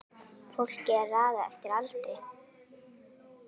Fólki er raðað eftir aldri